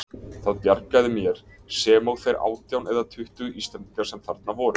Það bjargaði mér, sem og þeir átján eða tuttugu Íslendingar sem þarna voru.